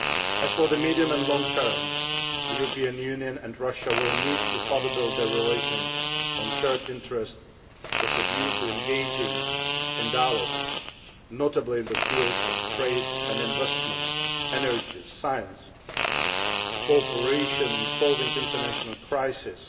As for the medium and long term, the European Union and Russia will need to further build their relations on shared interests with a view to engaging in dialogue, particularly in the fields of trade and investment, energy, science, cooperation in solving international crises